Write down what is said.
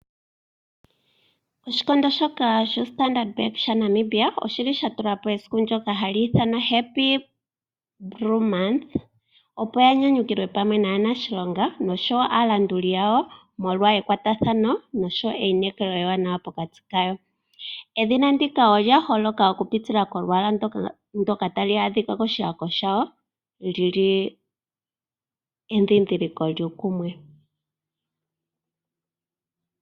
Oshikondo shoka shoStandard Bank shaNamibia oshili shatulapo esiku ndyoka Happy Blue Month, opo yanyanyukilwe pamwe naanashilonga noshowoo aalanduli yawo molwa ekwatathano noshowoo einekelo ewanawa pokati kawo. Edhina ndyoka olya holoka okupitila kolwaala ndyoka luli koshihako shalo lili endhindhiliko lyuukumwe.